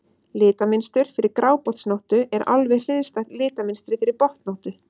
Litamynstur fyrir grábotnóttu er alveg hliðstætt litamynstri fyrir botnóttu.